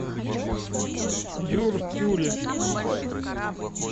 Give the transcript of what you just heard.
дюртюли